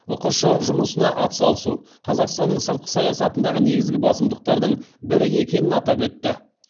ұқшұ жұмысына атсалысу қазақстанның сыртқы саясатындағы негізгі басымдықтардың бірі екенін атап өтті